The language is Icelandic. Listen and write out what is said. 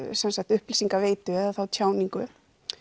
upplýsingaveitu eða tjáningu